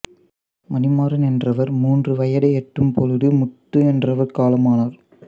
மணிமாறன் என்றவர் மூன்று வயதை எட்டும்பொழுது முத்து என்றவர் காலமானார்